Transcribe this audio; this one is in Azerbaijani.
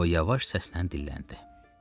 O yavaş səslə dilləndi.